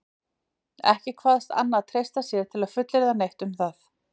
Ekki kvaðst Anna treysta sér til að fullyrða neitt um það.